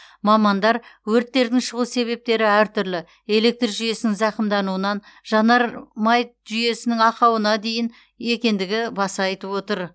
мамандар өрттердің шығу себептері әртүрлі электр жүйесінің зақымдануынан жанармай жүйесінің ақауына дейін екендігі баса айтып отыр